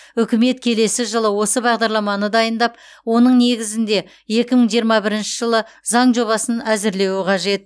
үкімет келесі жылы осы бағдарламаны дайындап оның негізінде екі мың жиырма бірінші жылы заң жобасын әзірлеуі қажет